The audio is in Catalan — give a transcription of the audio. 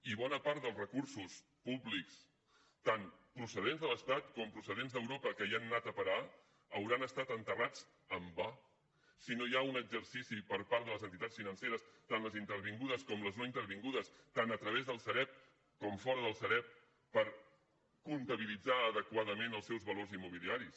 i bona part dels recursos públics tant procedents de l’estat com procedents d’europa que hi han anat a parar hauran estat enterrats en va si no hi ha un exercici per part de les entitats financeres tant les intervingudes com les no intervingudes tant a través del sareb com fora del sareb per comptabilitzar adequadament els seus valors immobiliaris